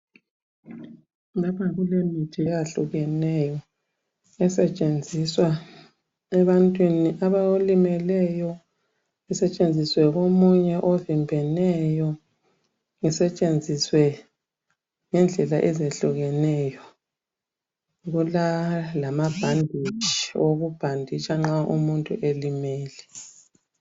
Lapha kulemithi ehlukeneyo esetshenziswa ebantwini abalimeleyo isetshenziswe komunye ovimbeneyo isetshenziswe ngendlela ezehlukeneyo kulalamabhanditshi okubhanditsha nxa umuntu elimele.